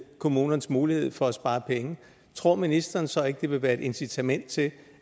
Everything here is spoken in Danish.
kommunernes mulighed for at spare penge tror ministeren så ikke at det vil være et incitament til